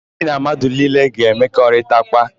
Gị na mmadụ niile a ga-emekọrịtakwa?